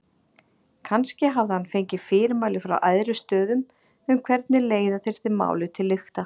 Kannski hafði hann fengið fyrirmæli frá æðri stöðum um hvernig leiða þyrfti málið til lykta.